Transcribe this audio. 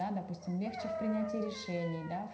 да допустим легче в принятии решений да